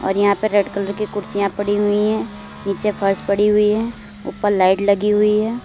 और यहां पर रेड कलर की कुर्सियां पड़ी हुई है नीचे फर्श पड़ी हुई है ऊपर लाइट लगी हुई है।